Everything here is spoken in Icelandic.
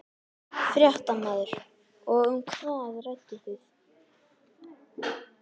Fréttamaður: Og um hvað rædduð þið?